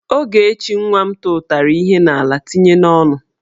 Ogechi nwa m tụtara ihe n'ala tinye ya n'onu.